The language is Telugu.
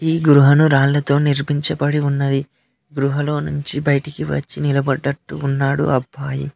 ఈ గృహాను రాళ్లతో నిర్మించబడి ఉన్నది గృహలో నుంచి బయటికి వచ్చి నిలబడ్డట్టు ఉన్నాడు అబ్బాయి.